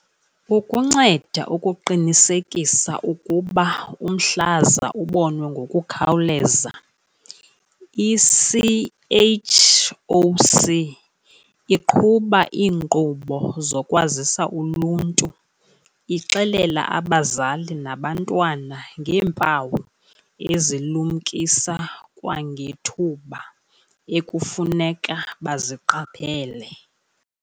Ukunceda ukuqinisekisa ukuba umhlaza ubonwe ngokukhawuleza, i-CHOC iqhuba iinkqubo zokwazisa uluntu, ixelela abazali nabantwana ngeempawu ezilumkisa kwangethuba ekufuneka baziqaphele.